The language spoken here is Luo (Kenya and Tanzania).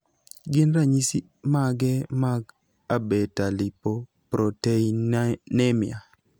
gin ranyis image mag Abetalipoproteinemia?